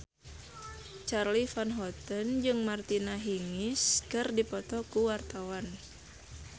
Charly Van Houten jeung Martina Hingis keur dipoto ku wartawan